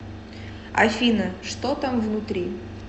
афина что там внутри